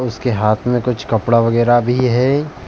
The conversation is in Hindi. उसके हाथ में कुछ कपड़ा वगैरा भी है।